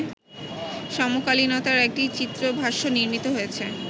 সমকালীনতার একটি চিত্রভাষ্য নির্মিত হয়েছে